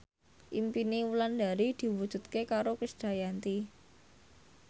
impine Wulandari diwujudke karo Krisdayanti